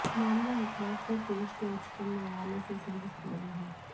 मामला एक बार फिर देश के उच्चतम न्यायालय से ही संबंधित है